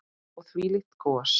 Og þvílíkt gos.